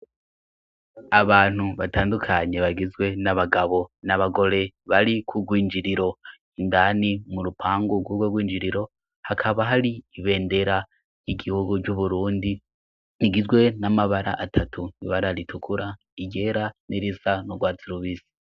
Abantu batandukanyi bagizwe n'abagabo n'abagore bari kurwinjiriro indani mu rupangu rw'urwe rw'injiriro hakaba hari ibendera yigihugu r'uburundi igizwe n'amabara atatu ibara ritukura igera n'irisa n'urwazirubisi.